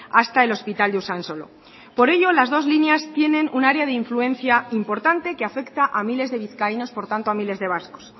hasta el hospital de usansolo por ello las dos líneas tienen un área de influencia importante que afecta a miles de vizcaínos por tanto a miles de vascos